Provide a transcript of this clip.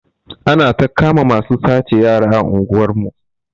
Anata kama masu sace yara a unguwar mu